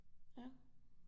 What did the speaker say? Ja